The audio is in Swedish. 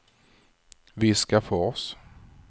Viskafors